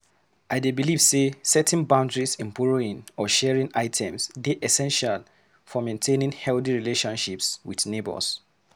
I dey believe say setting boundaries in borrowing or sharing items dey essential for maintaining healthy relationships with neighbors.